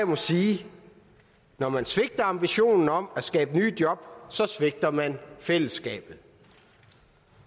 må sige når man svigter ambitionen om at skabe nye job svigter man fællesskabet